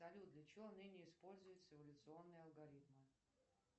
салют для чего ныне используются эволюционные алгоритмы